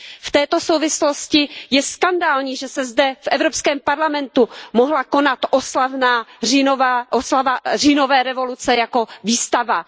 V této souvislosti je skandální, že se zde, v Evropském parlamentu, mohla konat oslava říjnové revoluce jako výstava.